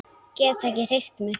Get ekki hreyft mig.